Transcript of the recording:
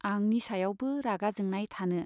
आंनि सायावबो रागा जोंनाय थानो